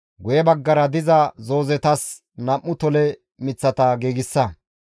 guye baggara diza zoozetas nam7u tole miththata giigsa.